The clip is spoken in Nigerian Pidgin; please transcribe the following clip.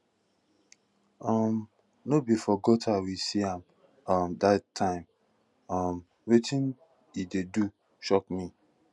um no be for gutter we see am um dat time um wetin he dey do shock me